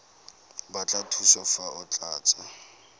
batla thuso fa o tlatsa